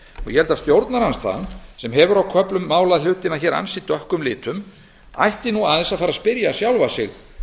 ég held að stjórnarandstaðan sem hefur á köflum málað hlutina hér ansi dökkum litum ætti nú aðeins að fara að spyrja sjálfa sig